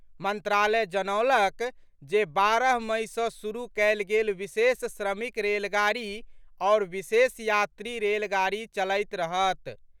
मंत्रालय जनौलक जे बारह मई सँ शुरू कयल गेल विशेष श्रमिक रेलगाड़ी आओर विशेष यात्री रेलगाड़ी चलैत रहत।